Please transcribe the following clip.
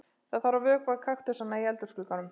Það þarf að vökva kaktusana í eldhúsglugganum.